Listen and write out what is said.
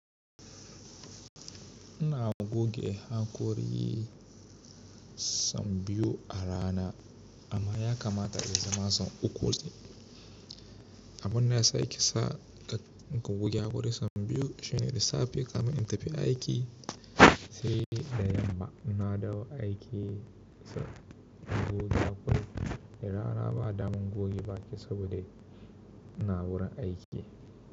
Ina goge hakori yi son biyu a rana amma ya kamata a yi zama son uku. Abin da ya sa in ki sa in goge hakori son biyu shine da safe kafin in tafi aiki sai da yamma ina dawo aiki goge hakori. Da rana ba damun goge baki saboda ina wurin aiki.